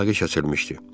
Əlaqə kəsilmişdi.